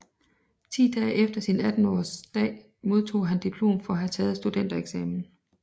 Ti dage efter sin attenårsdag modtog han diplom for at have taget studentereksamen